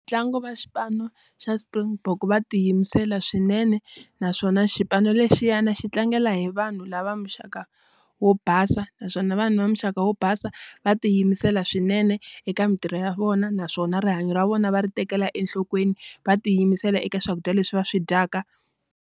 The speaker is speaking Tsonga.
Ntlangu va xipano xa Springbok va tiyimisela swinene. Naswona xipano lexiyana xi tlangela hi vanhu lava muxaka wo basa, naswona vanhu va muxaka wo basa va tiyimisela swinene eka mintirho ya vona. Naswona rihanyo ra vona va ri tekela enhlokweni, va tiyimisela eka swakudya leswi va swi dyaka.